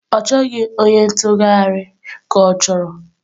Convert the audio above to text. Ọ chọghị onye ntụgharị ka ọ?